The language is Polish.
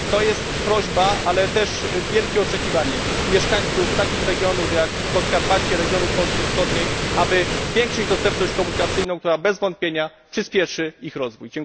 To jest prośba, ale też wielkie oczekiwanie mieszkańców takich regionów jak Podkarpacie, regionów Polski Wschodniej, aby zwiększyć dostępność komunikacyjną, która bez wątpienia przyspieszy ich rozwój.